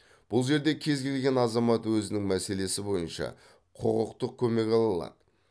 бұл жерде кез келген азамат өзінің мәселесі бойынша құқықтық көмек ала алады